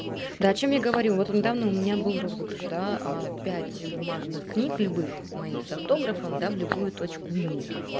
да о чём я говорю вот недавно у меня был розыгрыш да пять бумажных книг любых моих с автографом да в любую точку мира